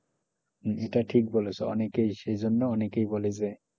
এটা ঠিক বলেছো অনেকেই সেজন্য অনেকেই বলে যে,